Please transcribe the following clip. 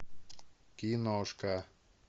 киношка